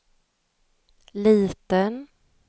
liten